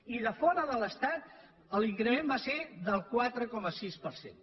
i de fora de l’estat l’increment va ser del quatre coma sis per cent